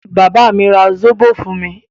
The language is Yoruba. Bàbá mi ra Zobò fún mi.